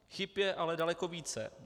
Chyb je ale daleko více.